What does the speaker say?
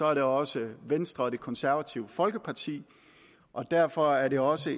er det også venstre og det konservative folkeparti og derfor er det også